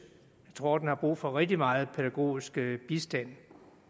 jeg tror den har brug for rigtig meget pædagogisk bistand